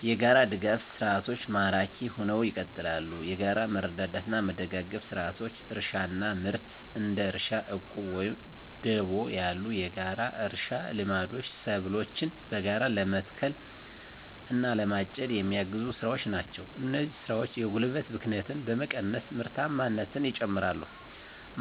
**የጋራ ድጋፍ ሰርዓቶች ማራኪ ሁነው ይቀጥላሉ፤ የጋራ መረዳዳትና መደጋገፍ ስርዓቶች: * እርሻና ምርት: እንደ እርሻ ዕቁብ ወይም ደቦ ያሉ የጋራ እርሻ ልምዶች ሰብሎችን በጋራ ለመትከል እና ለማጨድ የሚያግዙ ስራዎች ናቸው። እነዚህ ስራዎች የጉልበት ብክነትን በመቀነስ ምርታማነትን ይጨምራሉ። *